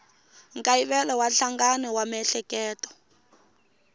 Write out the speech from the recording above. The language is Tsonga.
nkayivelo wa nhlangano wa miehleketo